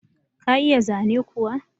Ka iya zane kuwa?